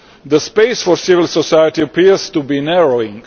The space for civil society appears to be narrowing.